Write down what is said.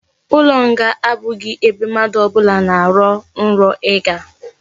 Ulo nga abughi ebe mmadu obula na aro nro iga